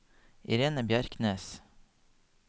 Irene Bjerknes